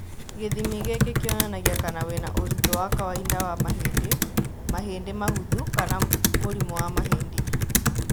Gĩthimi gĩkĩ kĩonanaga kana wĩna ũritũ wa kawaida wa mahĩndĩ, mahĩndĩ mahũthũ kana mũrimũ wa mahĩndĩ